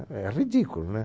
É ridículo, né?